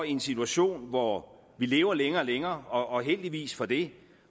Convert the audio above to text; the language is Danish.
i en situation hvor vi lever længere og længere og heldigvis for det